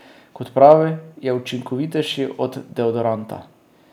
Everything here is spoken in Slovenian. Kot pravi, je učinkovitejši od deodoranta.